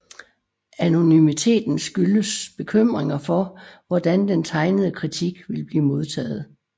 Anonymiteten skyldes bekymringer for hvordan den tegnede kritik vil blive modtaget